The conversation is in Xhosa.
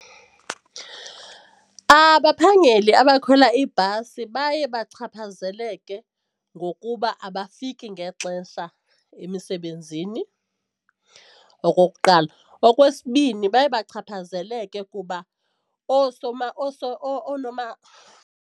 Abaphangeli abakhwela iibhasi baye bachaphazeleke ngokuba abafiki ngexesha emisebenzini, okokuqala. Okwesibini, baye bachaphazeleke kuba .